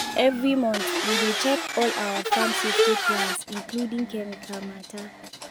every month we dey check all our farm safety plans including chemical matter.